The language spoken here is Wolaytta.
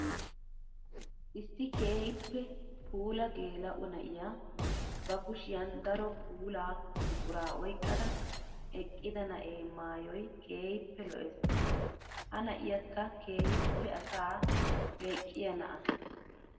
Issi keehippe puula geela'o na'iya ba kushiyan daro puula buqura oyqqada eqqida na'ee maayoy keehippe lo'ees. Ha na'iyakka keehippe asaa leqqiya na'aa.